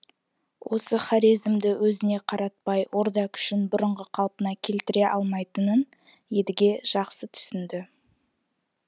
осы хорезмді өзіне қаратпай орда күшін бұрынғы қалпына келтіре алмайтынын едіге жақсы түсінді